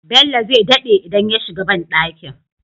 Bello zai daɗe idan ya shiga banɗakin